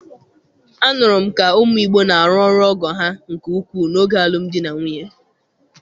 Anụrụ m ka ụmụ Igbo na-arụ ọrụ ọgọ ha nke ukwuu n'oge alụmdi na nwunye